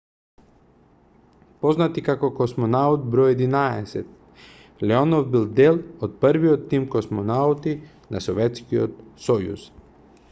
познат и како космонаут бр 11 леонов бил дел од првиот тим космонаути на советскиот сојуз